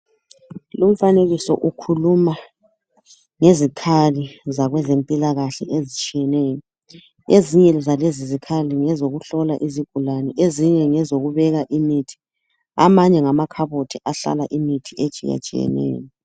Lumfanekiso ukhuluma ngezikhali zabezempilakahle ezitshiyeneyo. Ezinye zalezi zikhali ngezokuhlola izigulane, ezinye ngezokubeka imithi. Amanye ngamakhabothi ahlala imithi etshiyatshiyeneyo.